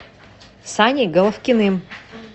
саней головкиным